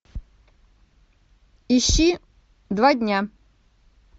ищи два дня